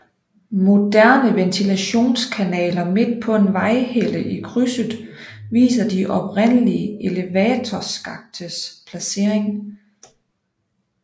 Moderne ventilationskanaler midt på en vejhelle i krydset viser de oprindelige elevatorskaktes placering